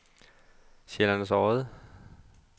Sjællands Odde